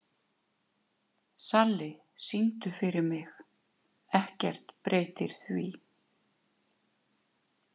Salli, syngdu fyrir mig „Ekkert breytir því“.